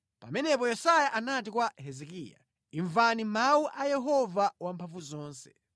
Pamenepo Yesaya anati kwa Hezekiya, “Imvani mawu a Yehova Wamphamvuzonse: